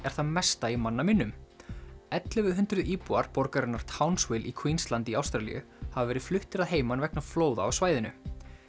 er það mesta í manna minnum ellefu hundruð íbúar borgarinnar í Queensland í Ástralíu hafa verið fluttir að heiman vegna flóða á svæðinu